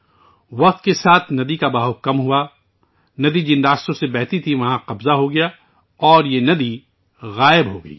وقت گزرنے کے ساتھ ساتھ ندی کا بہاؤ کم ہوتا گیا، جن راستوں سے دریا بہہ رہا تھا ان پر قبضہ کر لیا گیا اور ندی معدوم ہو گئی